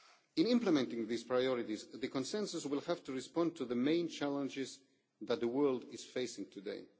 In implementing these priorities, the consensus will have to respond to the main challenges that the world is facing today.